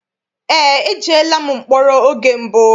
Eé, ejeela m mkpọrọ oge mbụ.